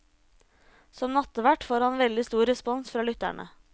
Som nattvert får han veldig stor respons fra lytterne.